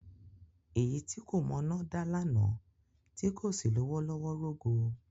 Èyí tí kò mọná dá lánàá tí kò sì lówó lọ́wọ́ rógo.